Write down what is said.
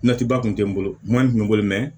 Natiba kun tɛ n bolo n man n bolo mɛ